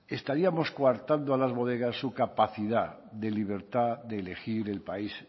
estaríamos coartando a las bodegas su capacidad de libertad de elegir el país